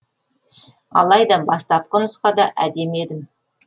алайда бастапқы нұсқада әдемі едім